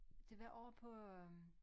Det var ovre på øh